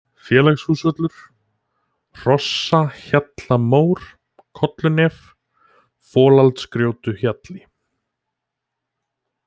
Félagshúsvöllur, Hrossahjallamór, Kollunef, Folaldsgjótuhjalli